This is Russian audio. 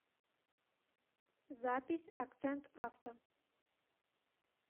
запись акцент авто